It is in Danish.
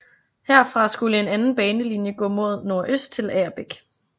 Herfra skulle en anden banelinje gå mod nordøst til Agerbæk